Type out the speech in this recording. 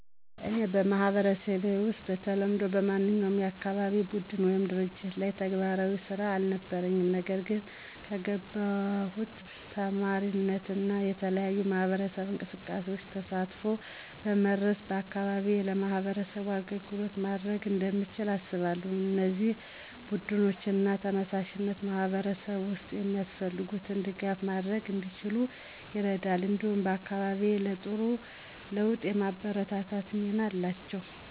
እኔ በማህበረሰቤ ውስጥ በተለምዶ በማንኛውም የአካባቢ ቡድን ወይም ድርጅት ላይ ተግባራዊ ስራ አልነበረኝም። ነገር ግን ከገባሁት ተማሪነት እና የተለያዩ የማህበረሰብ እንቅስቃሴዎች ተሳትፎ በመድረስ በአካባቢዬ ለማህበረሰቡ አገልግሎት ማድረግ እንደምችል አስባለሁ። እነዚህ ቡድኖች እና ተነሳሽነቶች በማህበረሰብ ውስጥ የሚያስፈልጉትን ድጋፍ ማድረግ እንዲችሉ ይረዳሉ፣ እንዲሁም አካባቢዬን ለጥሩ ለውጥ የማበርታት ሚና አላቸው።